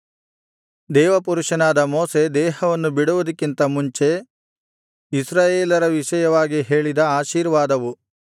ದೇವಪುರುಷನಾದ ಮೋಶೆ ದೇಹವನ್ನು ಬಿಡುವುದಕ್ಕಿಂತ ಮುಂಚೆ ಇಸ್ರಾಯೇಲರ ವಿಷಯವಾಗಿ ಹೇಳಿದ ಆಶೀರ್ವಾದವು